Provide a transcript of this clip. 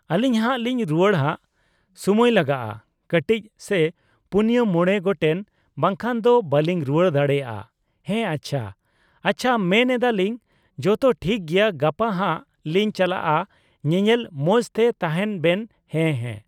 ᱟᱞᱤᱧ ᱦᱟᱸᱜ ᱞᱤᱧ ᱨᱩᱣᱟᱹᱲᱟ ᱦᱟᱸᱜ ᱥᱩᱢᱟᱹᱭ ᱞᱟᱜᱟᱜᱼᱟ ᱠᱟᱴᱤᱪ ᱥᱮᱭ ᱯᱩᱱᱭᱟᱹ ᱢᱚᱲᱮ ᱜᱚᱴᱮᱱ ᱵᱟᱠᱷᱟᱡ ᱫᱚ ᱵᱟᱞᱤᱝ ᱨᱩᱣᱟᱹᱲ ᱫᱟᱲᱮᱭᱟᱜᱼᱟ ᱾ ᱦᱮᱸ ᱟᱪᱪᱷᱟ ᱟᱪᱪᱷᱟ ᱢᱮᱱ ᱮᱫᱟᱞᱤᱝ ᱡᱚᱛᱚ ᱴᱷᱤᱠ ᱜᱮᱭᱟ ᱜᱟᱯᱟ ᱦᱟᱸᱜ ᱞᱤᱧ ᱪᱟᱞᱟᱜᱼᱟ ᱧᱮᱧᱮᱞ ᱢᱚᱸᱡᱽ ᱛᱮ ᱛᱟᱦᱮᱸᱱ ᱵᱮᱱ ᱦᱮᱸ ᱦᱮᱸ ᱾